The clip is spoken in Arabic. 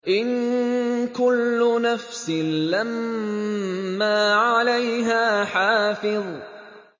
إِن كُلُّ نَفْسٍ لَّمَّا عَلَيْهَا حَافِظٌ